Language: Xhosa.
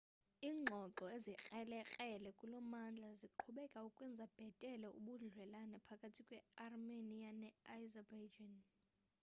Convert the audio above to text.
ingxoxo ezikrelekrele kulommandla ziyaqhubeka ukwenza bhetele ubudlelwane phakathi kwe armenia ne azerbaijan